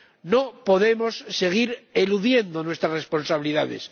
No podemos seguir eludiendo nuestras responsabilidades.